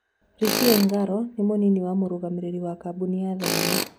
Richi Engaro nĩ mũnini wa mũrũgamĩrĩri wa kambuni ya thinema.